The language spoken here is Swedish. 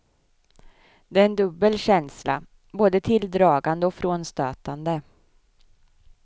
Det är en dubbel känsla, både tilldragande och frånstötande.